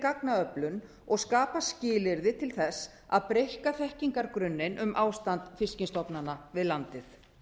gagnaöflun og skapa skilyrði til þess að breikka þekkingargrunninn um ástand fiskstofnanna við landið